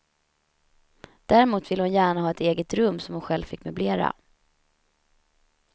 Däremot ville hon gärna ha ett eget rum som hon själv fick möblera.